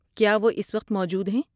کیا وہ اس وقت موجود ہیں؟